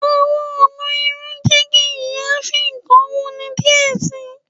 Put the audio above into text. Awọn ọna irun jẹ ki iyaafin kan wuni diẹ sii.